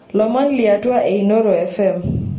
lomon liatwa e inooro fm